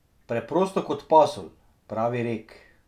Preprosto kot pasulj pravi rek.